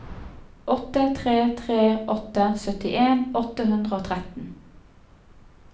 åtte tre tre åtte syttien åtte hundre og tretten